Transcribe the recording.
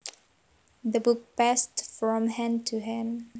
The book passed from hand to hand